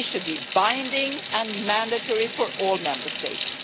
This should be binding and mandatory for all Member States.